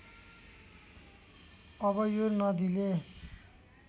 अब यो नदीले